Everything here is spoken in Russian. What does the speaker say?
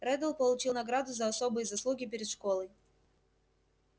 реддл получил награду за особые заслуги перед школой